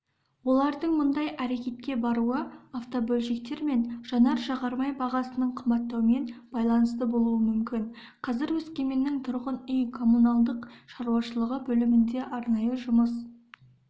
олардың мұндай әрекетке баруы автобөлшектер мен жанар-жағармай бағасының қымбаттаумен байланысты болуы мүмкін қазір өскеменнің тұрғын үй коммуналдық шаруашылығы бөлімінде арнайы жұмыс